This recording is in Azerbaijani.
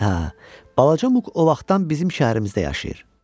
Hə, balaca Muk o vaxtdan bizim şəhərimizdə yaşayır.